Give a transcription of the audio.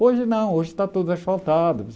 Hoje não, hoje está tudo asfaltado.